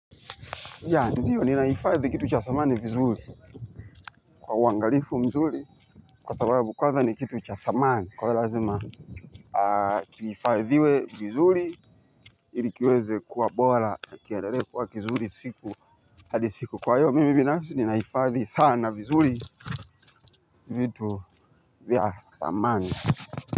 Ninaifadhi kitu cha thamani vizuri kwa uangalifu mzuri kwa sababu kwanza ni kitu cha thamani kwa iyo lazima kiifadhiwe vizuri ili kiweze kuwa bora na kiendele kuwa kizuri siku hadi siku kwa iyo mimi binafisi ninaifadhi sana vizuri vitu vya thamani.